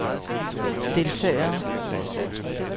deltagere